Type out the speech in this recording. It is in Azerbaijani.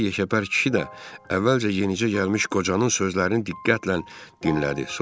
Bir yekəpər kişi də əvvəlcə yenicə gəlmiş qocanın sözlərini diqqətlə dinlədi.